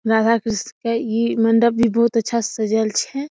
राधाकृष्ण का ई मंडप भी बहुत अच्छा से सजाएल छे।